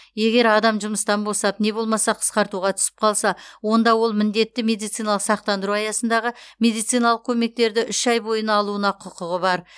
егер адам жұмыстан босап не болмаса қысқартуға түсіп қалса онда ол міндетті медициналық сақтандыру аясындағы медициналық көмектерді үш ай бойына алуына құқығы бар